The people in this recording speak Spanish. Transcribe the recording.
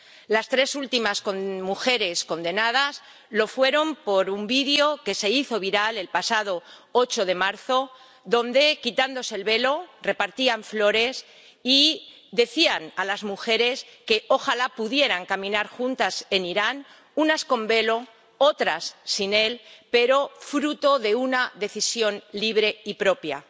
Las tres últimas mujeres condenadas lo fueron por un vídeo que se hizo viral el pasado 8 de marzo, en el que, quitándose el velo, repartían flores y decían a las mujeres que ojalá pudieran caminar juntas en Irán, unas con velo, otras sin él, pero fruto de una decisión libre y propia.